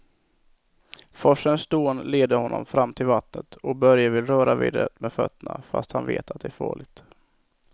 Forsens dån leder honom fram till vattnet och Börje vill röra vid det med fötterna, fast han vet att det är farligt.